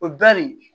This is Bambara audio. O bɛn nin